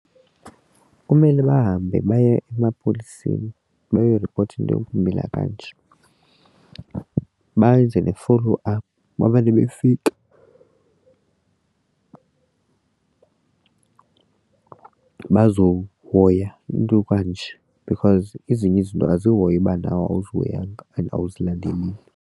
Kumele bahambe baye emapoliseni bayoripota into ukumila kanje benze ne-follow up bamane befika bazohoya umntu kanje because ezinye izinto azihoywa ubana awuzihoyanga and awuzilandeleli.